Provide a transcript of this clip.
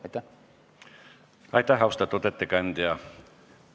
Aitäh, austatud ettekandja!